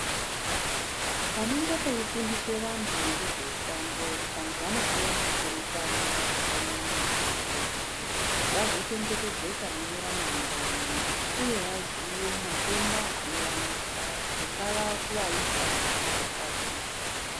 Panenge peifundiswe vantu ngezveutano vanhu vanofana kupurutana zvakanyanya kuitire kuti vazochengetedzeka mune ramangwani uye kvaziye matenda anovanesa kungava kuvaisa kana kuvakadzi.